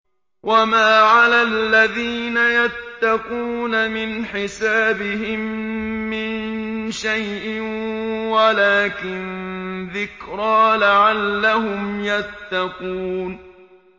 وَمَا عَلَى الَّذِينَ يَتَّقُونَ مِنْ حِسَابِهِم مِّن شَيْءٍ وَلَٰكِن ذِكْرَىٰ لَعَلَّهُمْ يَتَّقُونَ